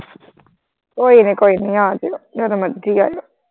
ਕੋਈ ਨਾ ਕੋਈ ਨੀ ਆਜਿਓ ਜਦੋਂ ਮਰਜੀ ਆ ਜਿਓ।